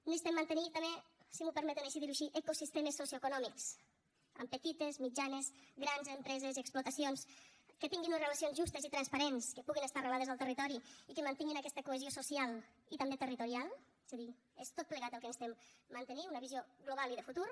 necessitem mantenir també si m’ho permeten dir ho així ecosistemes socioeconòmics amb petites mitjanes grans empreses i explotacions que tinguin unes relacions justes i transparents que puguin estar arrelades al territori i que mantinguin aquesta cohesió social i també territorial és a dir és tot plegat el que necessitem mantenir una visió global i de futur